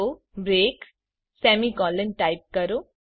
તો break semicolon type કરો